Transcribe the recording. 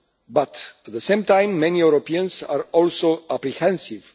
But, at the same time, many Europeans are also apprehensive.